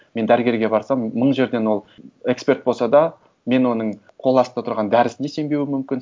мен дәрігерге барсам мың жерден ол эксперт болса да мен оның қол астында тұрған дәрісіне сенбеуім мүмкін